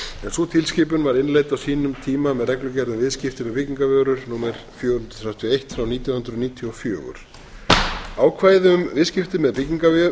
sú tilskipun var innleidd á sínum tíma með reglugerð um viðskipti fyrir byggingarvörur númer fjögur hundruð þrjátíu og eitt nítján hundruð níutíu og fjögur ákvæði um viðskipti með